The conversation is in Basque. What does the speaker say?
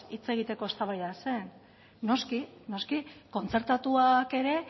hitz egiteko eztabaida zen noski kontzertatuak ere